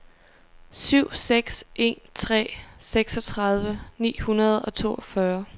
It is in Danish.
syv seks en tre seksogtredive ni hundrede og toogfyrre